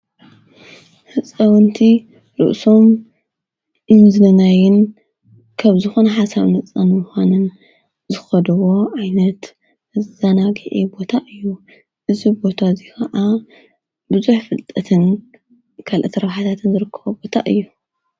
ሕፀወንቲ ርእሶም ኢንዝነናይን ከብ ዝኾነ ሓሳብ ነጸን ዉኾንን ዝኸድዎ ኣይነት ኣዛናጊየ ቦታ እዩ እዝ ቦታ እዙይ ኸዓ ብዙኅ ፍልጠትን ካልአቲ ረብሓታትን ዘርክወ ቦታ እዩ።